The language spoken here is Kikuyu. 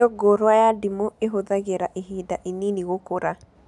Mĩũngũrwa ya ndimũ ĩhũthagĩra ihinda inini gũkũra